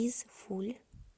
дизфуль